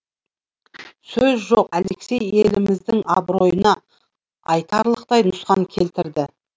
сөз жоқ алексей еліміздің абыройына айтарлықтай нұқсан келтірді